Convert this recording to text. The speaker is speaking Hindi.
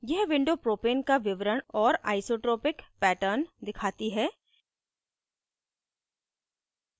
यह window propane का विवरण और isotopic pattern दिखाती है